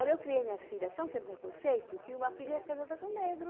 Olha, eu criei minhas filhas tão sem preconceito que uma filha é casada com um negro.